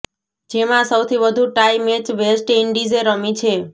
જેમાં સૌથી વધુ ટાઇ મેચ વેસ્ટ ઇન્ડીઝે રમી છે